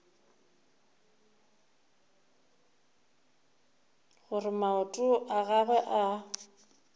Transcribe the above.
gore maoto a gagwe a